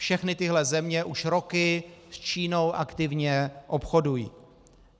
Všechny tyhle země už roky s Čínou aktivně obchodují.